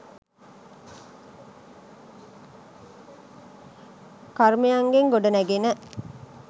කර්මයන්ගෙන් ගොඩ නැඟෙන